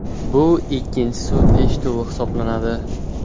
Bu ikkinchi sud eshituvi hisoblanadi.